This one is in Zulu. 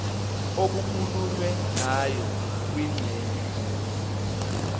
okukhulunywe ngayo kwingxenye